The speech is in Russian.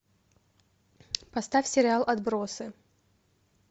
поставь сериал отбросы